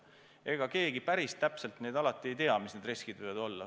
Ega keegi päris täpselt alati ei tea, mis need riskid võivad olla.